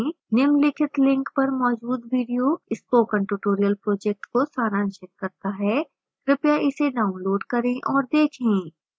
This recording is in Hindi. निम्नलिखित link पर मौजूद video spoken tutorial project को सारांशित करता है कृपया इसे डाउनलोड करें और देखें